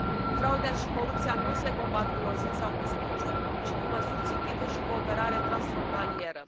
Frauda și corupția nu se combat cu lozinci sau cu speech uri, ci cu măsuri țintite și cooperare transfrontalieră.